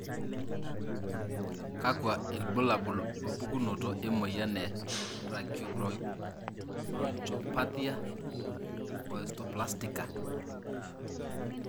kakua ilbulabul opukunoto emoyian e Tracheobronchopathia osteoplastica?